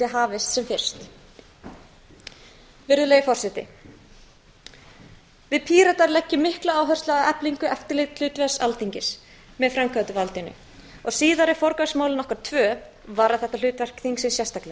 hafist sem fyrst virðulegi forseti við píratar leggjum mikla áherslu á eflingu eftirlitshlutverks alþingis með framkvæmdarvaldinu og síðari forgangsmál okkar tvö varða þetta hlutverk þingsins sérstaklega